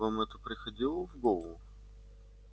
вам это приходило в голову